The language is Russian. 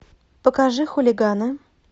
покажи хулиганы